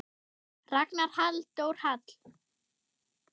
Ragnar Halldór Hall.